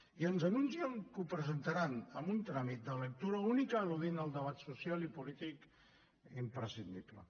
i ens anuncien que ho presentaran amb un tràmit de lectura única eludint el debat social i polític imprescindible